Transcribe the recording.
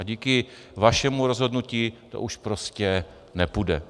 A díky vašemu rozhodnutí to už prostě nepůjde.